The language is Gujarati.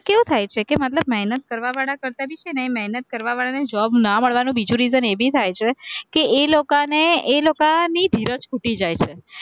કેવું થાય છે કે મહેનત કરવાવાળા કરતા ભી છે, અને મહેનત કરવાવાળાને job ના મળવાનું બીજું reason એ ભી થાય છે કે એ લોકોને એ લોકોની ધીરજ ખૂટી જાય છે